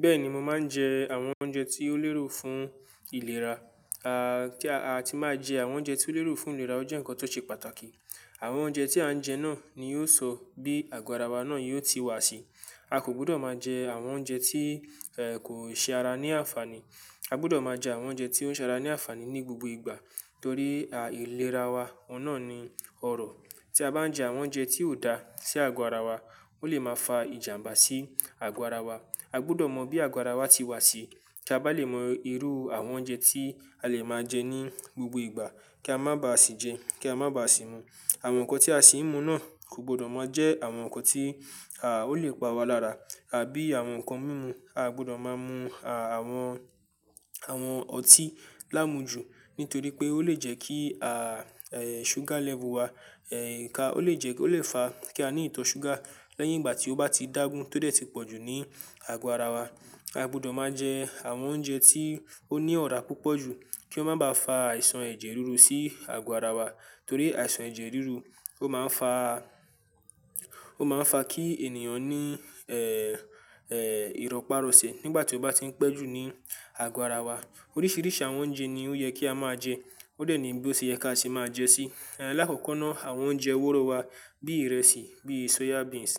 Bẹ́ẹ̀ni, mo máa ń jẹ àwọn oúnjẹ tí ó lérò fún ìlera. A, kí a ti máa jẹ àwọn oúnjẹ tí ó lérò fún ìlera, ó jẹ́ ǹkan tó ṣe pàtàkì. Àwọn oúnjẹ tí à ń jẹ náà ni yóò sọ bí àgọ́ ara wa náà yóò ti wà sí. A kò gbọdọ̀ máa jẹ àwọn oúnjẹ tí, ẹ, kò ṣe ara ní àǹfààní. A gbọdọ̀ máa jẹ àwọn oúnjẹ tí ó ń ṣe ara ní àǹfààní ní gbogbo ìgbà torí a, ìlera wa ọ̀nà ni ọrọ̀. Tí a bá ń jẹ àwọn oúnjẹ tí ò dá sí àgọ́ ara wa, ó lè máa fa ìjàmbá sí àgọ́ ara wa. A gbọdọ̀ mọ bí àgọ́ ara wa ti wà sí kí a bá lè mọ irú àwọn oúnjẹ tí a lè máa jẹ ní gbogbo ìgbà kí a má ba à sì jẹ, kí a má ba à sì mu. Àwọn nǹkan tí a sì ń mu náà kò gbọdọ̀ máa jẹ àwọn nǹkan tí, à, ó lè pa wa lára àbí àwọn nǹkan mímu. A gbọdọ̀ máa mu, à, àwọn, àwọn ọtí láàmú ju nítorí pé ó lè jẹ́ kí, à, ẹ, sugar level wa, ẹ, ká, ó lè jẹ́, ó lè fa kí a ní ìtọ̀ sugar lẹ́yìn ìgbà tí ó bá ti dágun tó dẹ̀ ti pọ̀ jù ní àgọ́ ara wa. A gbọdọ̀ máa jẹ àwọn oúnjẹ tí ó ní ọ̀rá púpọ̀ jù kí ó má bá fa àìsàn ẹ̀jẹ̀ ríru sí àgọ́ ara wa torí àìsàn ẹ̀jẹ̀ ríru ó máa ń fa, ó máa ń fa kí ènìyàn ní, ẹ, ẹ, ìrọ́pá rọoṣẹ̀ nígbà tí ó bá ti ń pẹ́ jù ní àgọ́ ara wa. Oríṣiríṣi àwọn oúnjẹ ni ó yẹ kí a máa jẹ. Ó dẹ̀ ní bí ó ṣe yẹ ká sì máa jẹ sí. Ẹ, lákòókò náà àwọn oúnjẹ wóró wa bí ìrẹsì, bí soya beans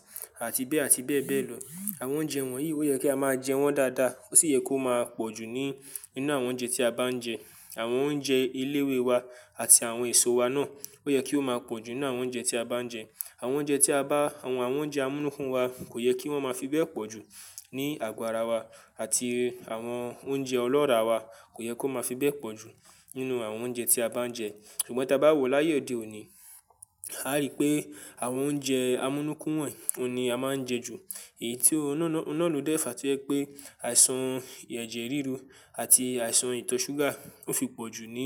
àti bẹ́ẹ̀ àti bẹ́ẹ̀ bẹ́ẹ̀ lọ. Àwọn oúnjẹ wọ̀nyí ó yẹ kí a máa jẹ wọ́n dáadáa ó sì yẹ kó máa pọ̀ jù ní ní inú àwọn oúnjẹ tí a bá ń jẹ. Àwọn oúnjẹ eléwé wa àti àwọn èso wa náà ó yẹ kí ó máa pọ̀ jù nínú àwọn oúnjẹ tí a bá ń jẹ. Àwọn oúnjẹ tí a bá, àwọn oúnjẹ amúnúkún wa kò yẹ kí wọ́n máa fi bẹ́ẹ̀ pọ̀ jù ní àgọ́ ara wa àti àwọn oúnjẹ ọlọ́ràá wa kò yẹ kó máa fi bẹ́ẹ̀ pọ̀ jù nínú àwọn oúnjẹ tí a bá ń jẹ. Ṣùgbọ́n tí a bá wò láyé òde òní, a rí pé àwọn oúnjẹ amúnúkún wọ̀nyí òní a máa ń jẹ ju. Èyí tí ọ́nà náà ló dẹ̀ fa kí ó yẹ pé àìsàn ẹ̀jẹ̀ ríru àti àìsàn ìtọ̀ sugar ó fi pọ̀ jù ní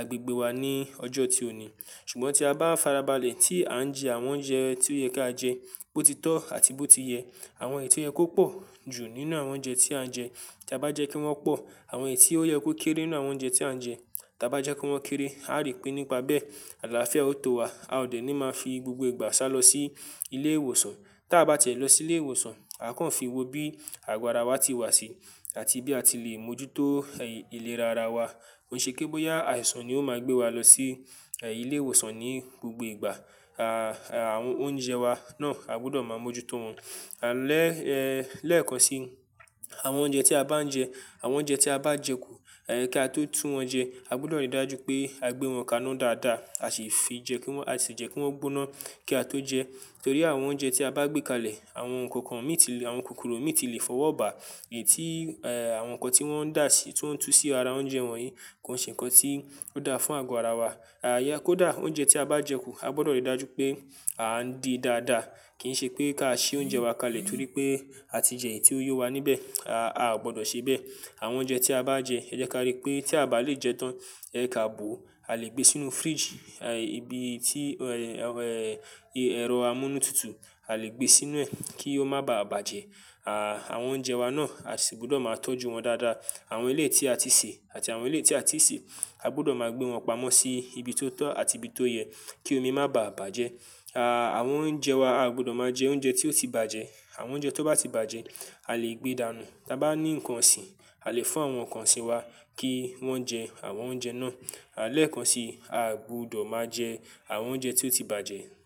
agbègbè wa ní ọjọ́ tí òní. Ṣùgbọ́n tí a bá farabalẹ̀ tí à ń jẹ àwọn oúnjẹ tí ó yẹ kí á jẹ, bó ti tọ́ àti bó ti yẹ, àwọn èyí tí ó yẹ kó pọ̀ jù nínú àwọn oúnjẹ tí à ń jẹ, tí a bá jẹ kí wọ́n pọ̀, àwọn èyí tí ó yẹ kó kéré nínú àwọn oúnjẹ tí à ń jẹ, tí a bá jẹ kí wọ́n kéré, a rí pé nípa bẹ́ẹ̀ àlàáfíà ó tó wa. A ò dẹ̀ ní máa fi gbogbo ìgbà sálọ sí ilé ìwòsàn. Tí a bá ti e lọ sí ilé ìwòsàn, a kàn fi wo bí àgọ́ ara wa ti wà sí àti bí a ti lè mójútó, ẹ, ìlera ara wa. Kò ṣe pé bóyá àìsàn ni ó máa gbé wa lọ sí, ẹ, ilé ìwòsàn ní gbogbo ìgbà. A, àwọn oúnjẹ wa náà a gbọdọ̀ máa mójútó wọn. Lẹ́, ẹ, lẹ́ẹ̀kan sí, àwọn oúnjẹ tí a bá ń jẹ, àwọn oúnjẹ tí a bá jẹ kù, ẹ, kí a tó tún wọn jẹ, a gbọdọ̀ rí dájú pé a gbé wọn kaná dáadáa a sì fi jẹ kí wọ́n, a sì jẹ kí wọ́n gbóná kí a tó jẹ. Torí àwọn oúnjẹ tí a bá gbé kalẹ̀, àwọn ǹkan kan mí ti lè, àwọn kòkòrò mí ti lè fọwọ́ bà. Èyí tí, ẹ, àwọn nǹkan tí wọ́n ń dà sí, tí wọ́n ń tú sí ara oúnjẹ wọ̀nyí kò ṣe ǹkan tí ó dáa fún àgọ́ ara wa. A, kó dà, oúnjẹ tí a bá jẹ kù a gbọdọ̀ rí dájú pé à ń di dáadáa. Kì í ṣe pé ká ṣi oúnjẹ wa kalẹ̀ torí pé a ti jẹ èyí tí ó yọ̀ wa níbẹ̀. A, a ò gbọdọ̀ ṣe bẹ́ẹ̀. Àwọn oúnjẹ tí a bá ń jẹ, ẹ jẹ́ kí a rí pé tí a bá lè jẹ tán, ẹ, je ká bò ó. A lè gbé e sínú fridge, ẹ, ibi tí, ẹ, ẹ, ẹ̀rọ amúnútutù, a lè gbé e sínú ẹ̀ kí ó má bà bàjẹ́. A, àwọn oúnjẹ wa náà a sì gbọdọ̀ máa tọ́jú wọn dáadáa. Àwọn eleyii tí a ti sè àti àwọn eleyii tí a ti sè, a gbọdọ̀ máa gbé wọn pamọ́ sí ibi tó tọ́ àti ibi tó yẹ kí omi má bà bàjẹ́. A, àwọn oúnjẹ wa, a gbọdọ̀ máa jẹ oúnjẹ tí ó ti bàjẹ́. Àwọn oúnjẹ tó bá ti bàjẹ́ a lè gbé dànù. Tí a bá ní ǹkan ọ̀sìn, a lè fún àwọn ọ̀kan ọ̀sìn wa kí wọ́n jẹ àwọn oúnjẹ náà. A, lẹ́ẹ̀kan sì, a gbọdọ̀ máa jẹ àwọn oúnjẹ tí ó ti bàjẹ́.